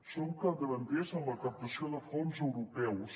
som capdavanters en la captació de fons europeus